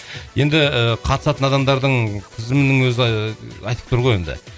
енді і қатысатын адамдардың тізімінің өзі айтып тұр ғой енді